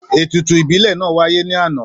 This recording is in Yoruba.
Ètùtù ìbílẹ̀ náà wáyé ní àná